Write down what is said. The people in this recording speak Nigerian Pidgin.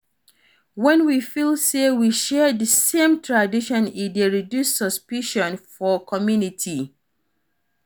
When we feel sey we share di same tradition e dey reduce suspicion for community